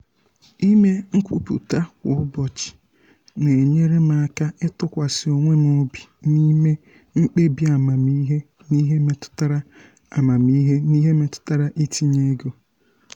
ịme nkwupụta kwa ụbọchị na-enyere m aka ịtụkwasị onwe m obi n’ịme mkpebi amamihe n’ihe metụtara amamihe n’ihe metụtara itinye ego.